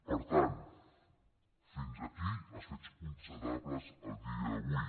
per tant fins aquí els fets constatables a dia d’avui